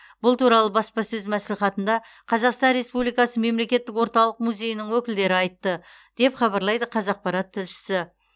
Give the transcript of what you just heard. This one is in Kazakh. бұл туралы баспасөз мәслихатында қазақстан республикасы мемлекеттік орталық музейінің өкілдері айтты деп хабарлайды қазақпарат тілшісі